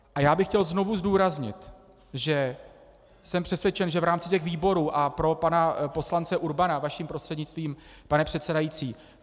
A já bych chtěl znovu zdůraznit, že jsem přesvědčen, že v rámci těch výborů - a pro pana poslance Urbana vaším prostřednictvím, pane předsedající.